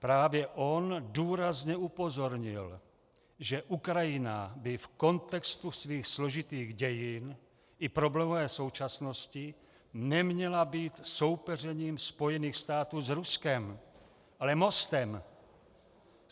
Právě on důrazně upozornil, že Ukrajina by v kontextu svých složitých dějin i problémové současnosti neměla být soupeřením Spojených států s Ruskem, ale mostem.